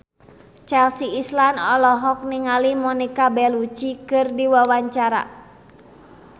Chelsea Islan olohok ningali Monica Belluci keur diwawancara